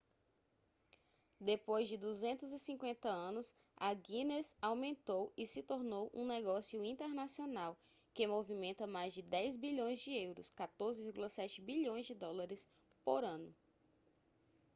depois de 250 anos a guinness aumentou e se tornou um negócio internacional que movimenta mais de 10 bilhões de euros 14,7 bilhões de dólares por ano